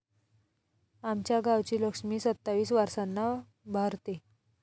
आमच्या गावची लक्ष्मी सत्तावीस वारसांना भरते...